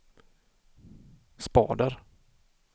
spader